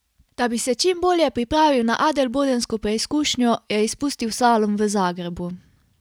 Da bi se čim bolje pripravil na adelbodensko preizkušnjo, je izpustil slalom v Zagrebu.